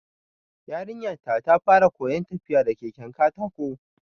Yarinya ta fara koyan tafiya da keken katako